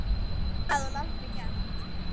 Það hafði hún aldrei gert.